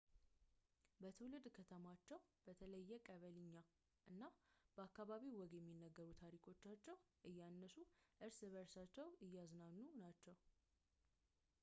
በትውልድ ከተማቸው በተለየ ቀበሊኛና በአካባቢው ወግ የሚነገሩትን ታሪኮቻቸውን እያነሱ እርስ በርሳቸውን እያዝናኑ ናቸው